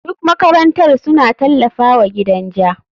Duk makarantar suna tallafawa gidan ja.